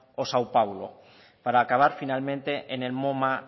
o sao pablo para acabar finalmente en el moma